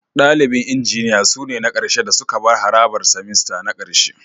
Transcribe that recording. Dalibin Injiniya sune na ƙarshe da suka bar harabar semester na ƙarshe